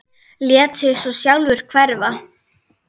Lét sig svo sjálfur hverfa.